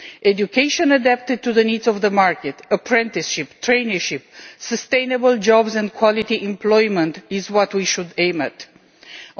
Education adapted to the needs of the market, apprenticeships, traineeships, sustainable jobs and quality employment are what we should aim for.